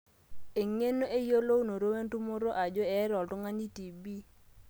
eng'eno, eyiolounoto wentumoto ajo eeta oltung'ani tb